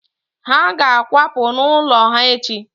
Ha ga-akwapụ n'ụlọ ala ha echi